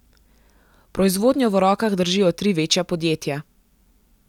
Proizvodnjo v rokah držijo tri večja podjetja.